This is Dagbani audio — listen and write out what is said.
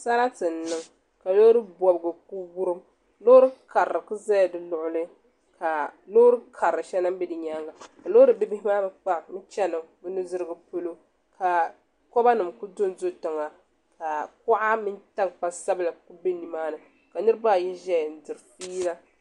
Sarati n niŋ ka loori bobgu ku wurim loori karili ku ʒɛla di luɣuli ka loori karili bɛ bɛ di nyaanga ka loori bihi bihi maa mii chɛni nudirigu polo ka koba nim ku dondo tiŋa ka kuɣa mini tankpa sabila ku bɛ nimaani ka niraba ayi ʒɛya n diri fiila